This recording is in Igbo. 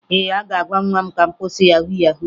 Ee, aga m agwa nwa m ka ọ kwụsị yahu yahu